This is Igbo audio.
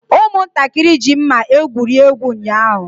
Ụmụntakịrị ji mma egwuri egwu ụnyaahụ.